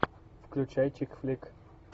включай чик флик